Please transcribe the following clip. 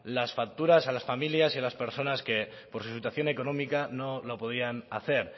las facturas a las familias y a las personas que por su situación económica no lo podían hacer